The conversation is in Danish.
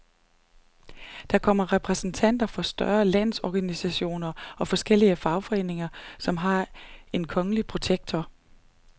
Der kommer repræsentanter for større landsorganisationer og forskellige foreninger, som har en kongelige protektor.